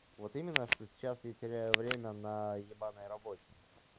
вот именно что сейчас я теряю время на ебаной работе